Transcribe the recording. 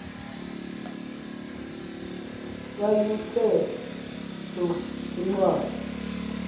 yayiwnthe tsu kwincwadi